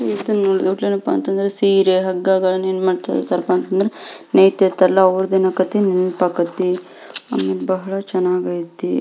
ಈದ್ ನೋಡಲ್ ಏನಪ್ಪಾ ಅಂತಂದ್ರ ಸೀರೆ ಹಗ್ಗ ಗಳನ್ನ ಏನ್ ಮಾಡ್ತಾ ಇರ್ತಾರಪ್ಪ ಅಂದ್ರ ನೇಯುತ ಇರ್ತಾರ ಅಲ್ಲ ಅವೃದ್ ಎನ್ಕಾತಿ ನೆನ್ಪ್ ಆಕತಿ. ಆಮೇಲೆ ಬಹಳ ಚೆನ್ನಾಗೈತಿ.